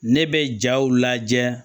Ne bɛ jaw lajɛ